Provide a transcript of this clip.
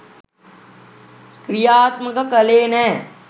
ක්‍රියාත්මක කළේ නෑ